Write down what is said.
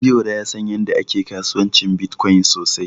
Biyora ya san yadda ake kasuwancin Bitcoin sosai.